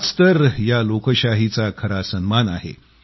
हाच तर या लोकशाहीचा खरा सन्मान आहे